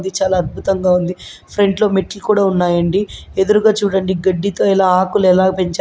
ఇది చాలా అద్బుతంగా ఉంది. ఫ్రంట్ లో మెట్లు కూడా ఉన్నాయండి. ఎదురుగా చూడండి. గడ్డితో ఎలా ఆకులెలా పెంచారో--